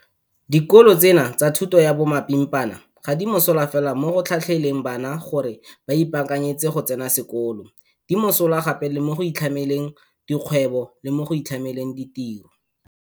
Dikolo tseno tsa thuto ya bomapimpana ga di mosola fela mo go tlhatlheleleng bana gore ba ipaakanyetse go tsena sekolo, di mosola gape le mo go itlhameleng dikgwebo le mo go itlhameleng ditiro.